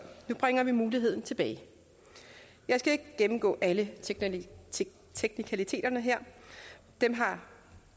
nu bringer vi muligheden tilbage jeg skal ikke gennemgå alle teknikaliteterne her dem har